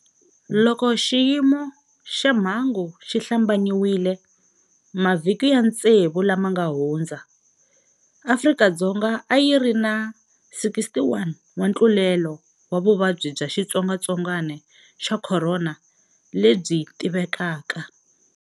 Loko xiyimo xa mhangu xi hlambanyiwile mavhiki ya tsevu lama nga hundza, Afrika-Dzonga a yi ri na 61 wa ntlulelo wa vuvabyi bya xitsongwatsongwana xa khorona lebyi tivekaka.